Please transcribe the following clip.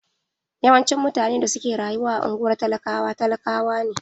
Yawanci mutane da suke rayuwa a unguwar talakawa talakawa ne.